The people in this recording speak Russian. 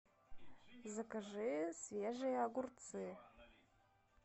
закажи свежие огурцы